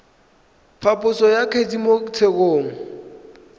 phaposo ya kgetse mo tshekong